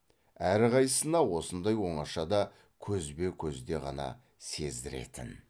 әрқайсысына осындай оңашада көзбе көзде ғана сездіретін